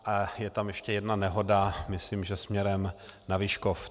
A je tam ještě jedna nehoda, myslím, že směrem na Vyškov.